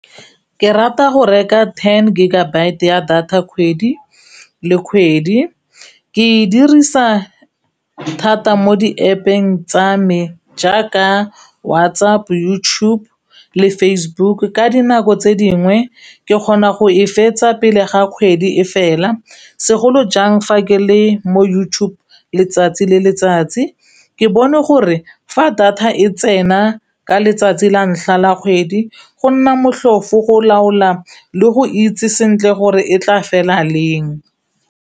Ke rata go reka ten gigabyte ya data kgwedi le kgwedi ke e dirisa thata mo di App eng tsa me jaaka WhatsApp, YouTube le Facebook ka dinako tse dingwe ke kgona go e fetsa pele ga kgwedi e fela segolo jang fa ke le mo YouTube letsatsi le letsatsi ke bone gore fa data e tsena ka letsatsi la ntlha la kgwedi go nna motlhofo go laola le go itse sentle gore e tla fela leng.